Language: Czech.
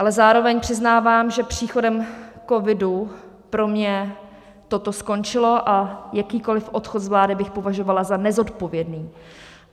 Ale zároveň přiznávám, že příchodem covidu pro mě toto skončilo a jakýkoliv odchod z vlády bych považovala ze nezodpovědný.